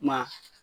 Ma